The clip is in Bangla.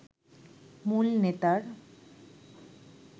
মূল নেতার